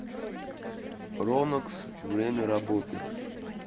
ронокс время работы